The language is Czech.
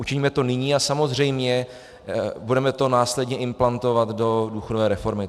Učiňme to nyní a samozřejmě budeme to následně implantovat do důchodové reformy.